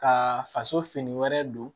Ka faso fini wɛrɛ don